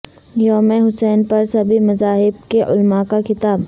یوم حسین پر سبھی مذاہب کے علماء کا خطاب